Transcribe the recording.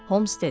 Holmes dedi.